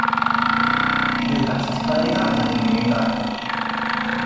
Vilbert, hvað er í dagatalinu mínu í dag?